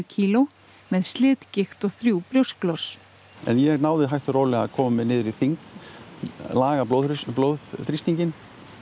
kílógrömmum með slitgigt og þrjú brjósklos en ég náði hægt og rólega að koma mér niður í þyngd laga blóðþrýstinginn blóðþrýstinginn